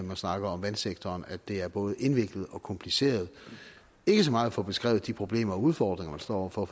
man snakker om vandsektoren at det er både indviklet og kompliceret ikke så meget at få beskrevet de problemer og udfordringer man står over for